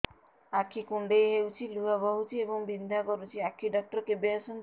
ଆଖି କୁଣ୍ଡେଇ ହେଉଛି ଲୁହ ବହୁଛି ଏବଂ ବିନ୍ଧା କରୁଛି ଆଖି ଡକ୍ଟର କେବେ ଆସନ୍ତି